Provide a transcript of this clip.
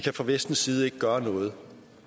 fra vestens side ikke kan gøre noget